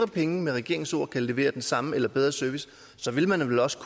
penge med regeringens ord kan levere den samme eller bedre service så vil man også